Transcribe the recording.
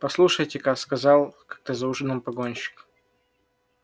послушайте-ка сказал как-то за ужином погонщик